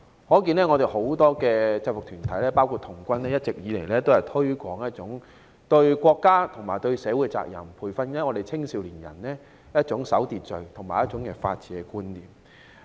由此可見，很多制服團體，包括童軍，一直以來都推廣一種對國家和社會責任，培訓青少年人一種守秩序和法治觀念。